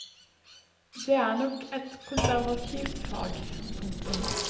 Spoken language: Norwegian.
Det er nok et konservativt fag. punktum